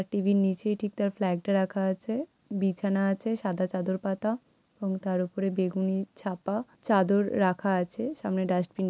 TV. -র নিচে ঠিক তার প্লাগ -টা রাখা আছে। বিছানা আছে সাদা চাদর পাতা এবং তার ওপরে বেগুনি ছাপা চাদর রাখা আছে সামনে ডাস্টবিন ।